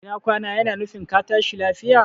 Ina kwana yana nufin ka tashi lafiya